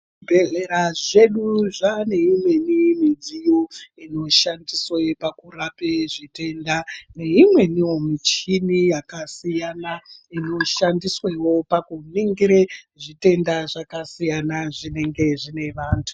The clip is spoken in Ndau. Zvibhedhlera zvedu zvane imwnei midziyo inoshandiswa pakurapa zvitenda neimwneniwo michini yakasiyana inoshandiswawo pakuningira zvitenda zvakasiyana zvinenge zvine antu.